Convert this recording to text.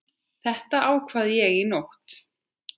Þetta ákvað ég í nótt.